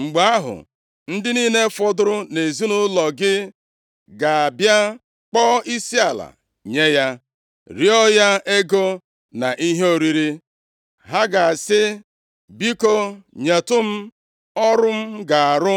Mgbe ahụ, ndị niile fọdụrụ nʼezinaụlọ gị ga-abịa kpọọ isiala nye ya, rịọọ ya ego na ihe oriri. Ha ga-asị, “Biko, nyetụ m ọrụ m ga-arụ